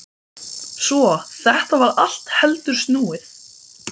Svo þetta var allt heldur snúið.